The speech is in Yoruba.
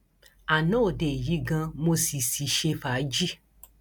ana òde yìí ganan mo sì sì ṣe fàájì